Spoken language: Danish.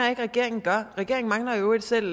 at regeringen gør regeringen mangler i øvrigt selv